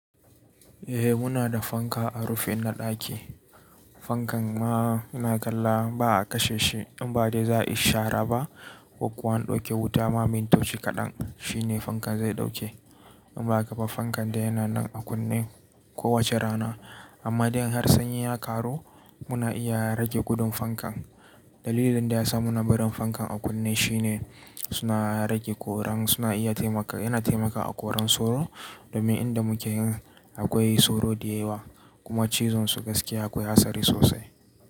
Eh muna da fanka a rufin na ɗaki. Fankan ma ina kalla ba a kashe shi in ba dai za a shara ba ko kuwa an ɗauke wuta ma mintoci kaɗan shi ne fankan zai ɗauke. In ba haka ba fankan dai yana nan a kunne kowace rana amma idan har sanyi ya karu muna iya rage gudun fankan. Dalilin da ya sa muna barin fankan a kunne shi ne suna rage koran suna iya taimaka yana taimaka a koran soro domin inda muke akwai soro da yawa kuma cizon su gaskiya akwai hatsari sosai.